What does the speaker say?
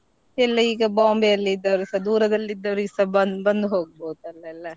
ಎಲ್ಲ ಈಗ Bombay ಯಲ್ಲಿದ್ದವರುಸ ದೂರದಲ್ಲಿದ್ದವ್ರಿಗೆಸಾ ಬಂದ್ ಬಂದ್ ಹೋಗ್ಬಹುದಲೆಲ್ಲಾ.